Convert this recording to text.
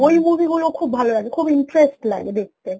ওই movie গুলো খুব ভালো লাগে খুব interest লাগে দেখতে